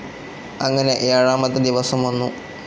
അങ്ങനെ ഏഴാമത്തെ ദിവസം വന്നു.